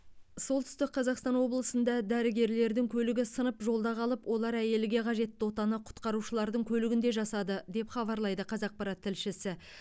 солтүстік қазақстан облысында дәрігерлердің көлігі сынып жолда қалып олар әйелге қажетті отаны құтқарушылардың көлігінде жасады деп хабарлайды қазақпарат тілшісі